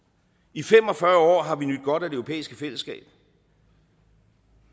i fem og fyrre år har vi nydt godt af det europæiske fællesskab og